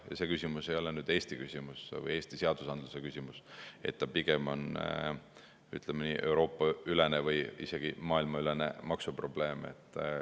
Ja see küsimus ei ole ainult Eesti küsimus või Eesti seadusandluse küsimus, vaid see pigem on, ütleme nii, Euroopa-ülene või isegi maailmaülene maksuprobleem.